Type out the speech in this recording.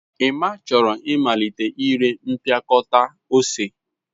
Emma chọrọ ịmalite ire mpịakọta ose.